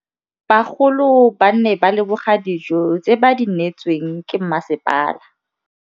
Bagolo ba ne ba leboga dijô tse ba do neêtswe ke masepala.